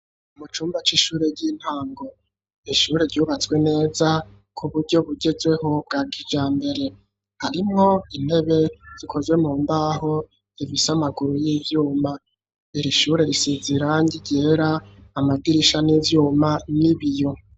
Mu cumba c'ishure, ry'intango; ishure ryubatswe neza, ku buryo bugezweho, bwa kijambere; harimwo intebe, zikozwe mu mbaho, zifise amaguru y'ivyuma; iri shure, risize irangi ryera, amadirisha ni ivyuma, n'ibiyo.